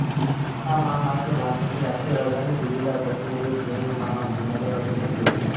हा महामार्ग भारताची राष्ट्रीय राजधानी दिल्लीला दक्षिणेकडील चेन्नई महानगरासोबत जोडतो